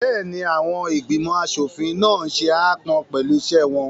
Bẹ́ẹ̀ni, àwọn ìgbìmọ̀ aṣòfin náà n ṣe aápọn pẹ̀lú iṣẹ́ wọn